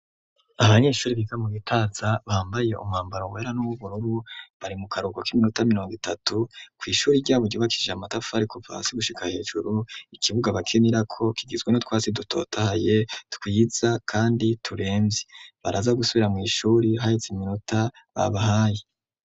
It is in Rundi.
Abanyeshure biga mu bitaza bambaye umwambaro wera n'ububururu bari mu karuhuko k'iminota miriongo itatu kw'ishure ryabo ryubakishijwe amatafari kuva hasi gushika hejuru ikibuga bakinirako kigizwe nu twatsi dutotaye twiza kandi baraza gusubira mw'ishure haheze iminota babahaye.